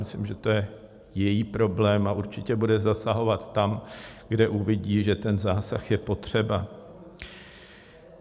Myslím, že to je její problém, a určitě bude zasahovat tam, kde uvidí, že ten zásah je potřeba.